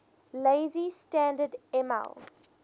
lazy standard ml